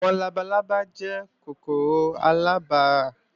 Àwọn labalábá jẹ́ kòkòrò aláràbarà